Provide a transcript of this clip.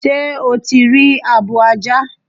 Sé o ti rí abo ajá?